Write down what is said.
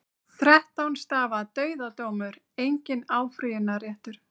Þrettán stafa dauðadómur, enginn áfrýjunarréttur.